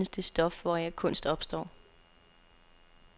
Kun i det lokale findes det stof, hvoraf kunst opstår.